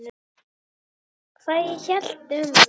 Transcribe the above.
Hvað ég hélt um hann?